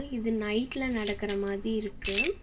இது நைட்ல நடக்கிற மாதி‌ இருக்கு.